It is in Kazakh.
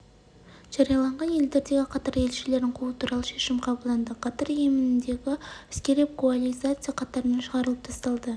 жариялаған елдердегі катар елшілерін қуу туралы шешім қабылданды катар йемендегі әскери коалиция қатарынан шығарылып тасталды